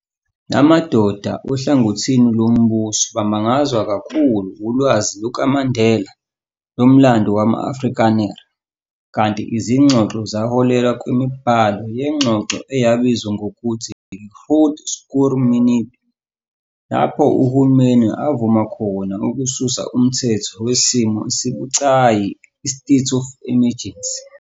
La madoda ohlangothi lombuso bamangazwa kakhulu ulwazi lukaMandela lomlando wama-Afrikaner, kanti izingxoxo zaholela kwimibhalo yengxoxo eyabizwa ngokuthi yi-Groot Schuur Minute, lapho uhulumeni avuma khona ukususa umthetho wesimo esibucayi i-state of emergency.